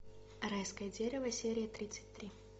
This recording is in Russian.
райское дерево серия тридцать три